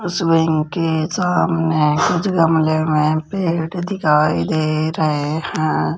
अस्वेइंग के सामने कुछ गमले में पेड़ दिखाई दे रहे हैं।